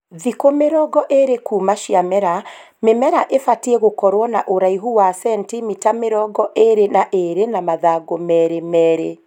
Thikũ mĩrongo ĩrĩ kuuma ciamera, mĩmera ibatiĩ gũkorwo na ũraihu wa centimita mĩrongo ĩrĩ na ĩrĩ na mathangũ merĩ merĩ